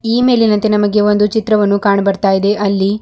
ಈ ಮೇಲಿನಂತೆ ನಮಗೆ ಒಂದು ಚಿತ್ರವನ್ನು ಕಾಣಬರ್ತಾಯಿದೆ ಅಲ್ಲಿ.